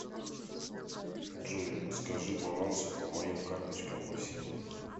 джой скажи балансы по моим карточкам по всем